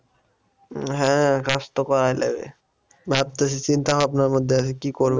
হ্যাঁ কাজ তো করাই লাগে ভাবতেছি চিন্তা ভাবনার মধ্যে আছি কি করব